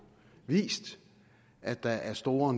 har vist at der er store